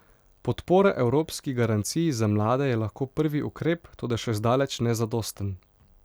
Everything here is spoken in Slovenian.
Podpora Evropski garanciji za mlade je lahko prvi ukrep, toda še zdaleč ne zadosten.